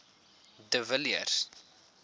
de villiers